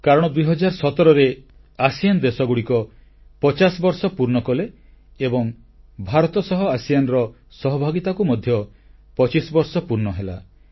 କାରଣ 2017ରେ ଆସିଆନ ଦେଶଗୁଡ଼ିକ ପଚାଶ ବର୍ଷ ପୂର୍ଣ୍ଣ କଲେ ଏବଂ ଭାରତ ସହ ଆସିଆନ ର ସହଭାଗିତାକୁ ମଧ୍ୟ 25ବର୍ଷ ପୂର୍ଣ୍ଣ ହେଲା